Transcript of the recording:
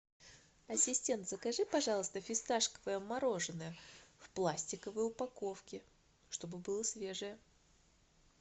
ассистент закажи пожалуйста фисташковое мороженое в пластиковой упаковке чтобы было свежее